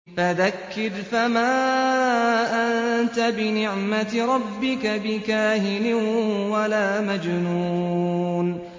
فَذَكِّرْ فَمَا أَنتَ بِنِعْمَتِ رَبِّكَ بِكَاهِنٍ وَلَا مَجْنُونٍ